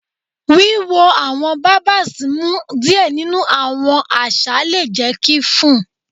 Wiwo awọn barbers mu diẹ ninu awọn aza le jẹ ki fun